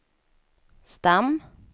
stam